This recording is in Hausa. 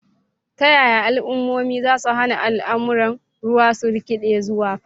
Ta yaya al'ummomi za su hana al'amuran ruwa su rikide zuwa fada?